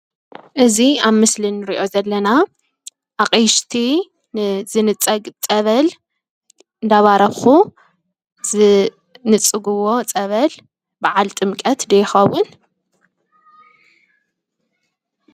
እዚ ኣብ ምስሊ እንሪኦ ዘለና ድማ ኣቕሽቲ ንዝንፀግ ፀበል እንዳባረኹ ዝንፅጉዎ ፀበል በዓል ጥምቀት ዶ ይኸውን?